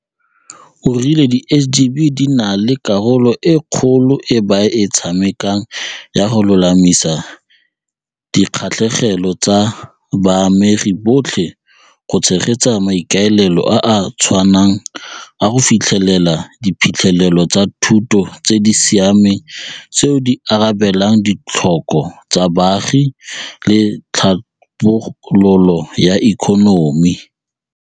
O rile di SGB di na le karolo e kgolo e ba e tshamekang ya go lolamisa dikgatlhegelo tsa baamegi botlhe go tshegetsa maikaelelo a a tshwanang a go fitlhelela diphitlhelelo tsa thuto tse di siameng tseo di arabelang ditlhoko tsa baagi le tlhabololo ya ikonomi.